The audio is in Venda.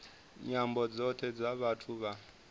nyambo dzothe dza vhathu vha